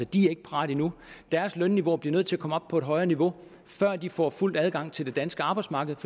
de er ikke parate endnu deres lønniveauer bliver nødt til at komme op på et højere niveau før de får fuld adgang til det danske arbejdsmarked